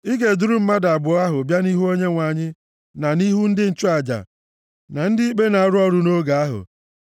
a ga-eduru mmadụ abụọ ahụ bịa nʼihu Onyenwe anyị na nʼihu ndị nchụaja na ndị ikpe na-arụ ọrụ nʼoge ahụ.